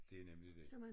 Det er nemlig det